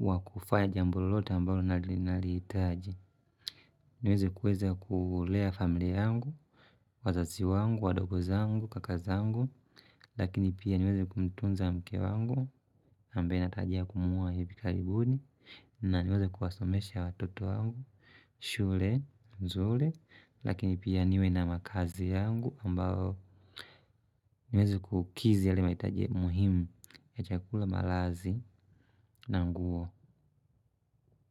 wa kufanya jambo lolote ambalo ninalo lihitaji niweze kuweza kulea familia yangu wazazi wangu wadogo zangu kaka zangu lakini pia niweze kumtunza mke wangu ambaye natarajia kumwona hivi karibuni. Na niweze kuwasomesha watoto wangu shule, nzuri. Lakini pia niwe na makazi yangu ambao niweze kukizi yale mahitaji muhimu katika kula malazi na nguo.